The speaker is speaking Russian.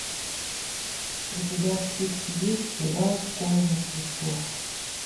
у тебя в списке есть сериал школа мертвецов